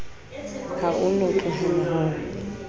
ha o no tlohelwa ho